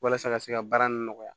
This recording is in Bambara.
Walasa ka se ka baara nin nɔgɔya